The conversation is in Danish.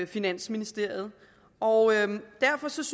finansministeriet og derfor synes